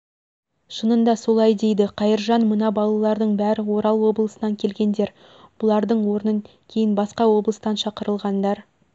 шынында солай дейді қайыржан мына балардың бәрі орал облысынан келгендер бұлардың орнын кейін басқа облыстан шақырылғандар